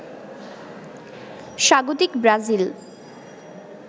স্বাগতিক ব্রাজিল